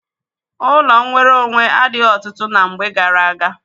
Ọnụ nwere onwe adịghị ọtụtụ ná mgbe gaara aga.